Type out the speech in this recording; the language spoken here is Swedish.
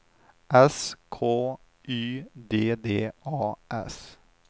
S K Y D D A S